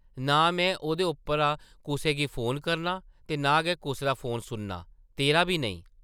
नां में ओह्दे उप्परा कुसै गी फोन करनां ते नां गै कुसै दा फोन सुननां ; तेरा बी नेईं ।